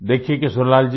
देखिये किशोरीलाल जी